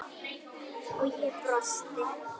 og ég brosti.